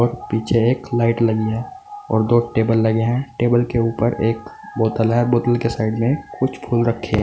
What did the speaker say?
पीछे एक लाइट लगी है और दो टेबल लगे हैं टेबल के ऊपर एक बोतल है बोतल के साइड में कुछ फूल रखे हैं।